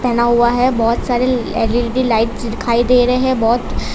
बना हुआ है बहोत सारे एल_इ_डी लाइट्स दिखाई दे रहे हैं बहोत।